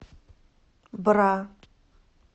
бра